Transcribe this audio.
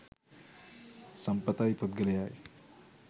සම්පත යි පුද්ගලයා යි.